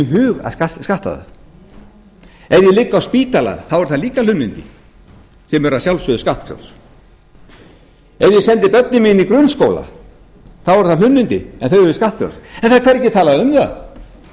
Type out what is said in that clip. skatta það ef ég ligg á spítala eru það líka hlunnindi sem eru að sjálfsögðu skattfrjáls ef ég sendi börnin mín í grunnskóla eru það hlunnindi en þau eru skattfrjáls það er hins vegar hvergi talað um það